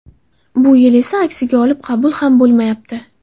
Bu yil esa aksiga olib, qabul ham bo‘lmayapti.